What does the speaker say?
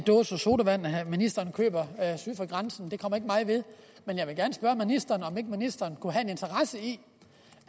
dåser sodavand ministeren køber syd for grænsen det kommer ikke mig ved men jeg vil gerne spørge ministeren om ikke ministeren kunne have en interesse i